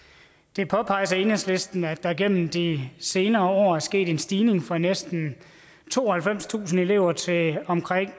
det påpeges af enhedslisten at der igennem de senere år er sket en stigning fra næsten tooghalvfemstusind elever til omkring